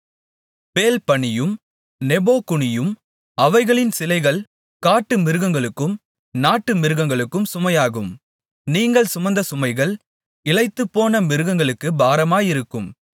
பேல் பணியும் நேபோ குனியும் அவைகளின் சிலைகள் காட்டு மிருகங்களுக்கும் நாட்டு மிருகங்களுக்கும் சுமையாகும் நீங்கள் சுமந்த சுமைகள் இளைத்துப்போன மிருகங்களுக்குப் பாரமாயிருக்கும்